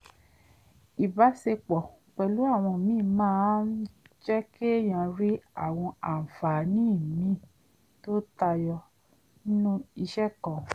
ìbáṣepọ̀ pẹ̀lú àwọn míì máa ń jẹ́ kéèyàn rí àwọn àǹfààní míì tó tayọ ẹnu iṣẹ́ kan